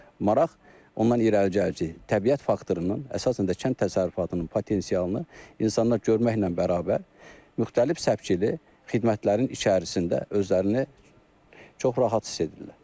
Maraq ondan irəli gəlir ki, təbiət faktorunun, əsasən də kənd təsərrüfatının potensialını insanlar görməklə bərabər, müxtəlif səpkili xidmətlərin içərisində özlərini çox rahat hiss edirlər.